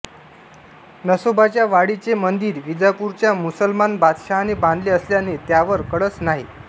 नसोबाच्या वाडीचे मंदिर विजापूरच्या मुसलमान बादशहाने बांधले असल्याने त्यावर कळस नाही